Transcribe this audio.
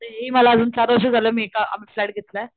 ते हि मला अजून चार वर्ष झालं मी एका आम्ही फ्लॅट घेतलाय,